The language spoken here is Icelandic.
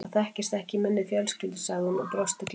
Það þekkist ekki í minni fjölskyldu sagði hún og brosti gleitt.